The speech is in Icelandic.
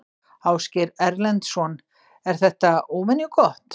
Ásgeir Erlendsson: Er þetta óvenju gott?